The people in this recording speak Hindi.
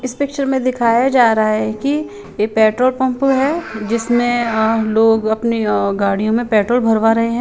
इस पिक्चर में दिखाई जारा हे की ये पेट्रोल पम्प हे जिसमे अ लोग अपने गाडियों में पेट्रोल भरवा रहे हे।